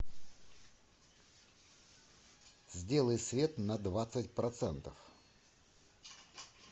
сделай свет на двадцать процентов